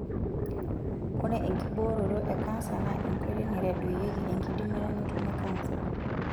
Ore enkibooroto e kansa naa enkoitoi naitadoyieki enkidimata nitumie kansa.